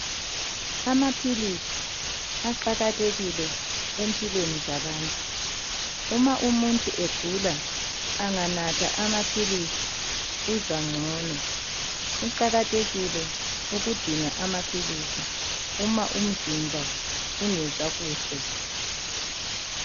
Amaphilisi aqakathekile empilweni zabantu. Uma umuntu egula anganatha amaphilisi uzwa ngcono. Kuqakathekile ukudinga amaphilisi uma umzimba ungezwa kuhle.